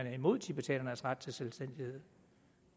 er imod tibetanernes ret til selvstændighed